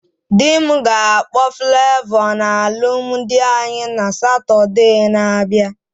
Dị m ga-akpọ Flavọ na alụmdi anyị na Satode na abịa